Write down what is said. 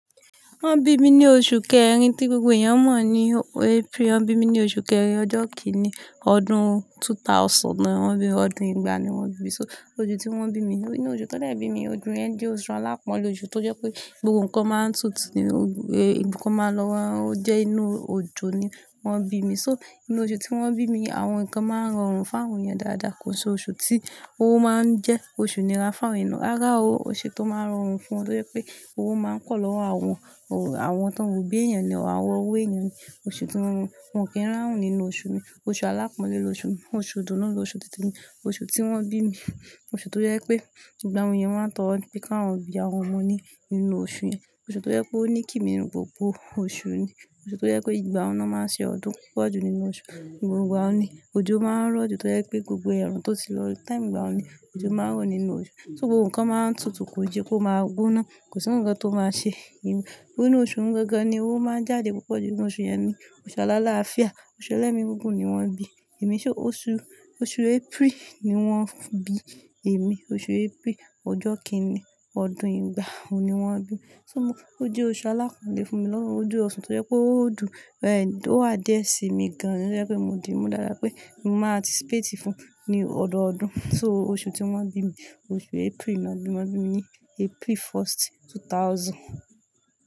Wọ́n bi mi ní oṣù kẹrin tí gbogbo èèyàn mọ̀ ní April. Wọ́n bi mi ní oṣù kẹrin ọjọ́ kíní ọdún two thousand ni wọ́n bí mi, ọdún ìgbà ni wọ́n bi. So osu tí wọ́n bí mi, inú oṣù tó jẹ́ bí mi, ojú yẹ̀n jẹ́ oṣù alápọnlé oṣù tó jẹ́ pé gbogbo ǹkan máa ń tutù ní ibukun ma lo--, ó jẹ́ inú oojọ́ ni wọ́n bí mi. So inú oṣù tí wọ́n bí mi, àwọn ǹkan máa ń rọrùn fún àwọn èèyàn dáadáa kò ṣe oṣù tí o máa ń jẹ́ oṣù inira fún àwọn èèyàn. Rárá o, oṣù tó máa rọrùn fún wọn tó jẹ́ pé owó máa ń pọ̀ lọ́wọ́ àwọn, àwọn tó ń obí èèyàn ní ọ̀wọ́ èèyàn ní oṣù tí--. Wọn kì í ráun nínú oṣù mi. Oṣù alápọn lo oṣù mi. Oṣù idùnnu ló oṣù tite mi. Oṣù tí wọ́n bí mi. Oṣù tó jẹ́ pé gbogbo awon eeyan máa ń tọ́ro ní pe ka won bí àwọn ọmọ ní ínú oṣù yẹn. Oṣù tó jẹ́ pé ó ní kì ni gbogbo oṣù ni. Oṣù tó jẹ́ wipé ìgbà un náà máa n ṣe ọdún púpọ̀ jù nínú oṣù. Ìgbà wo ni òjò máa ń rọ̀ jù tó jẹ́ pé gbogbo ẹ̀rùn tó ti lọ, time ìgbà wo ni òjò máa ń rọ̀ nínú oṣù. So gbogbo ǹkan máa ń tutù kò je kó máa gboná. Kò sí ǹkan tó máa ṣe. Inú oṣù un gangan ni owó máa ń jáde púpọ̀ jù, ínú oṣù yẹn ni. Oṣù alálááfíà, oṣù ẹlẹ́migúngun ni wọ́n bi. Èmi ṣé oṣù, oṣù April ni wọ́n bi. Èmi oṣù April ọjọ́ kíní ọdún yìí gbà ó ni wọ́n bí mi. O je oṣù alápọnlé fún mi lọ́wọ́, o je osu tó jẹ́ pé ó dùn, ẹ̀, ó wà dare sí mi gan-an tó jẹ́ pé mo di mú dáadáa pé mo maà anticipate fún un ní ọdọọdún. So, oṣù tí wọ́n bí mi, oṣù April ni wọ́n bí mi. Wọ́n bí mi ní April first two thousand.